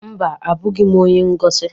Mba, abụghị m onye ngosi.